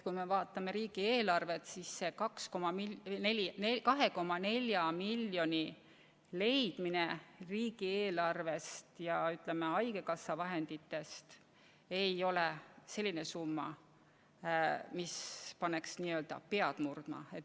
Kui me vaatame riigieelarvet, siis selle 2,4 miljoni leidmine riigieelarvest ja haigekassa vahenditest ei ole selline summa, mis paneks pead murdma.